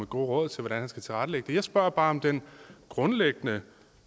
gode råd til hvordan man skal tilrettelægge den jeg spørger bare om den grundlæggende